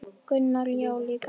Gunnar: Já líka hann